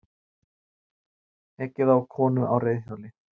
Ekið á konu á reiðhjóli